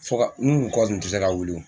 Fɔ ka n kun kɔ kun ti se ka wuli yo.